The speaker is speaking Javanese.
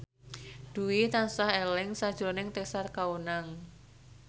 Dwi tansah eling sakjroning Tessa Kaunang